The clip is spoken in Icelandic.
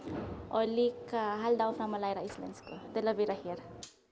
líka halda áfram að læra íslensku til að vera hér